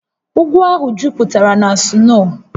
Ugwu ahụ jupụtara na sno